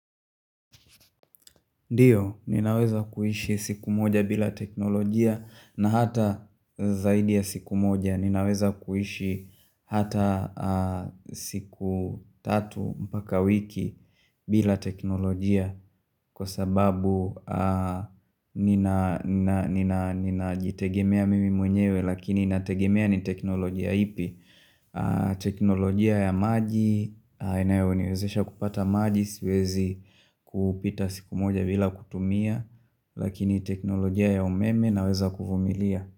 Ndiyo, ninaweza kuhishi siku moja bila teknolojia na hata zaidi ya siku moja ninaweza kuhishi hata siku tatu mpaka wiki bila teknolojia Kwa sababu nina jitegemea mimi mwenyewe lakini nategemea ni teknolojia ipi teknolojia ya maji Inayoniwezesha kupata maji Siwezi kupita siku moja bila kutumia Lakini teknolojia ya umeme naweza kufumilia.